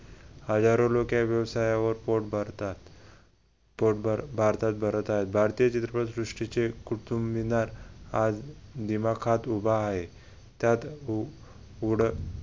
हजारो लोक या व्यवसायावर पोट भरतात पोटभर भारतात भरत आहे. भारतीय चित्रपटसृष्टीचे कुतुबमिनार आज दिमाखात उभा आहे. त्यात